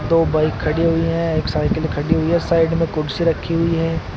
दो बाइक खड़ी हुई हैं एक साइकिल खड़ी हुई है साइड में कुर्सी रखी हुई है।